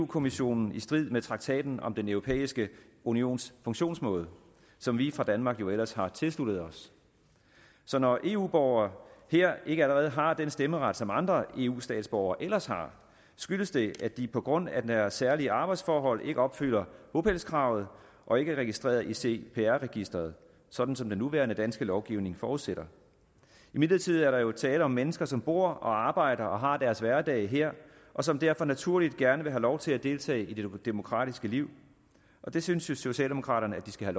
kommissionen i strid med traktaten om den europæiske unions funktionsmåde som vi fra danmark jo ellers har tilsluttet os når eu borgere her ikke allerede har den stemmeret som andre eu statsborgere ellers har skyldes det at de på grund af deres særlige arbejdsforhold ikke opfylder bopælskravet og ikke er registreret i cpr registeret sådan som den nuværende danske lovgivning forudsætter imidlertid er der jo tale om mennesker som bor og arbejder og har deres hverdag her og som derfor naturligt gerne vil have lov til at deltage i det demokratiske liv og det synes socialdemokraterne at de skal